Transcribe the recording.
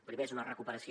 primer és una recuperació